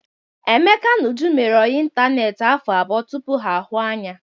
Emeka na Uju mere ọyị ịntaneetị afọ abụọ tupu ha ahụ anya.